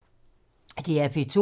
DR P2